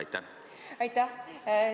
Aitäh!